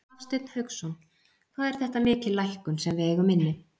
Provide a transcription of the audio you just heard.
Hafsteinn Hauksson: Hvað er þetta mikil lækkun sem við eigum inni?